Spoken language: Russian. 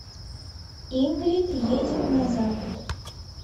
ингрид едет на запад